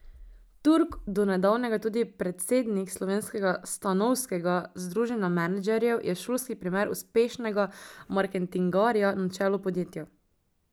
Turk, do nedavnega tudi predsednik slovenskega stanovskega združenja menedžerjev, je šolski primer uspešnega marketingarja na čelu podjetja.